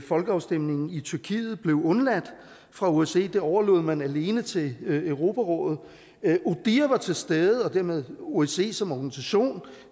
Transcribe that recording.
folkeafstemningen i tyrkiet blev undladt fra osces side det overlod man alene til europarådet odihr var til stede og dermed osce som organisation